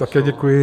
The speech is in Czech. Také děkuji.